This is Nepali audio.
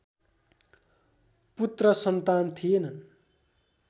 पुत्र सन्तान थिएनन्